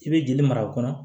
I bɛ joli mara kɔnɔ